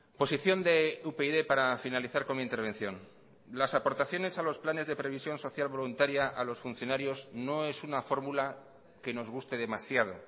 posición de upyd para finalizar con mi intervención las aportaciones a los planes de previsión social voluntaria a los funcionarios no es una fórmula que nos guste demasiado